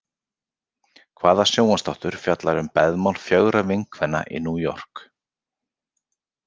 Hvaða sjónvarpsþáttur fjallar um beðmál fjögurra vinkvenna í New York?